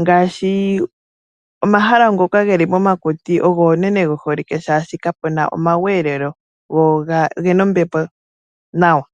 Ngaashi omahala ngoka geli momakuti ogo unene ge holike oshoka kapuna omakudhilo go ogena ombepo nawa.